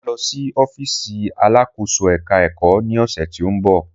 Mà á lọ sí ọ́fíìsì alakoso-eka-eko ní ọ̀sẹ̀ tó ń bọ̀.